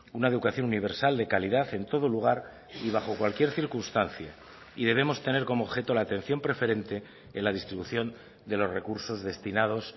una educación universal de calidad en todo lugar y bajo cualquier circunstancia y debemos tener como objeto la atención preferente en la distribución de los recursos destinados